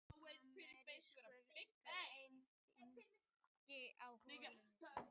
Amerískur greifingi í holu sinni.